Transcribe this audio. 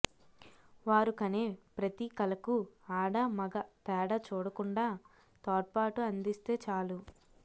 వారు కనే ప్రతి కలకూ ఆడా మగ తేడా చూడకుండా తోడ్పాటు అందిస్తే చాలు